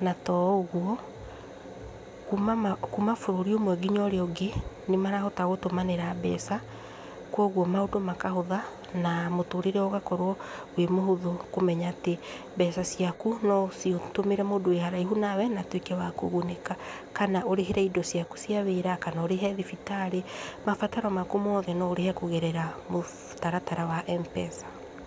Na to ũguo, kuma bũrũri ũmwe nginya ũrĩa ũngĩ, nĩmarahota gũtũmanĩra mbeca, kwoguo maũndũ makahũtha, na mũtũrĩre ũgakorwo wĩ mũhũthũ kũmenya atĩ mbeca ciaku noũcitũmĩre mũndũ wĩ kũraihu nawe, na atuĩke wa kũgunĩka, kana ũrĩhĩre indo ciaku cia wĩra, kana ũrĩhe thibitarĩ, mabataro maku mothe noũrĩhe kũgera mũtaratara wa mpesa.